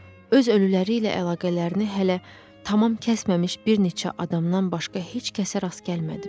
Öz ölüləri ilə əlaqələrini hələ tamam kəsməmiş bir neçə adamdan başqa heç kəsə rast gəlmədim.